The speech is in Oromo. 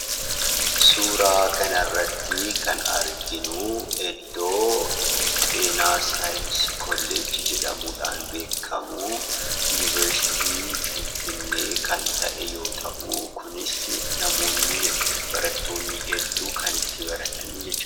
Suura kanarratti kan arginu, iddoo kolleejjii saayinsii fayyaa Yunivarsiitii Finfinnee yommuu ta'u, kan barattoonni baay'een itti baratanidha.